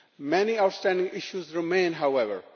Many outstanding issues remain, however.